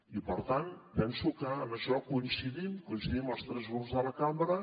i per tant penso que en això coincidim coincidim els tres grups de la cambra